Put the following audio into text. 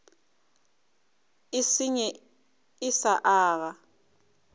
e senye e sa aga